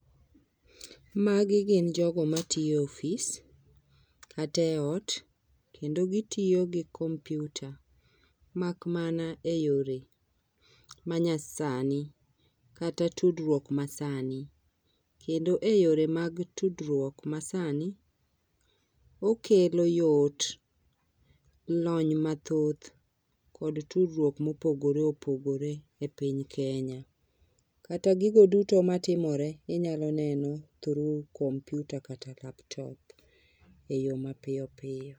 Magi gin jogo matyo e ofis kata e ot kendo gitiyo gi kompyuta mak mana e yore manyasani kata tudruok masani kendo e yore mag tudruok masani ,okelo yot, lony mathoth kod tudruok mopogore opogore e piny Kenya. kata gigo duto matimore inyalo neno through computer kata laptop e yoo mapiyo piyo